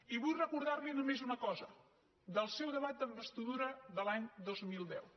i vull recordar li només una cosa del seu debat d’investidura de l’any dos mil deu